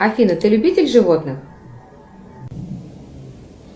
афина ты любитель животных